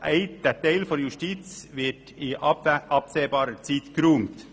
Aber der Teil der JGK wird in absehbarer Zeit geräumt.